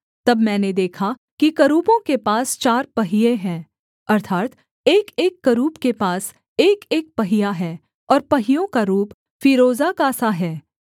तब मैंने देखा कि करूबों के पास चार पहिये हैं अर्थात् एकएक करूब के पास एकएक पहिया है और पहियों का रूप फीरोजा का सा है